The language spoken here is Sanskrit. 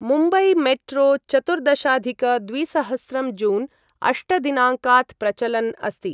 मुम्बईमेट्रो चतुर्दशाधिक द्विसहस्रं जून् अष्ट दिनाङ्कात् प्रचलन् अस्ति।